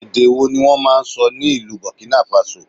Èdè wo ni wọ́n máa ń sọ ní ìlú Burkina Faso?